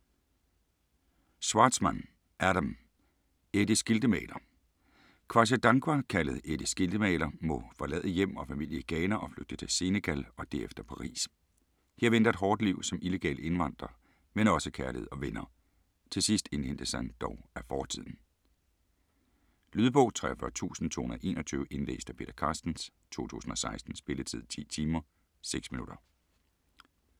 Schwartzman, Adam: Eddie Skiltemaler Kwasi Dankwa, kaldet Eddie Skiltemaler, må forlade hjem og familie i Ghana og flygte til Senegal og derefter Paris. Her venter et hårdt liv som illegal indvandrer, men også kærlighed og venner. Til sidst indhentes han dog af fortiden. Lydbog 43221 Indlæst af Peter Carstens, 2016. Spilletid: 10 timer, 6 minutter.